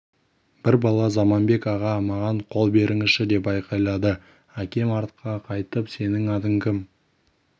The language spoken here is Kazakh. бір бала заманбек аға маған қол беріңізші деп айқайлады әкем артқа қайтып сенің атың кім